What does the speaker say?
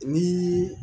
Ni